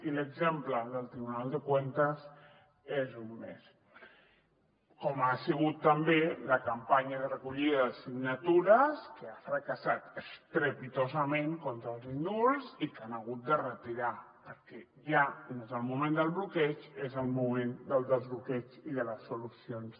i l’exemple del tribunal de cuentas n’és un mes com ho ha sigut també la campanya de recollida de signatures que ha fracassat estrepitosament contra els indults i que han hagut de retirar perquè ja no és el moment del bloqueig és el moment del desbloqueig i de les solucions